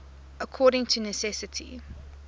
according to necessity